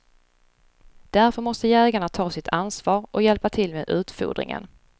Därför måste jägarna ta sitt ansvar och hjälpa till med utfodringen.